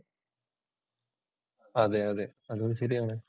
അതെ അതെ അതും ശരിയാണ്.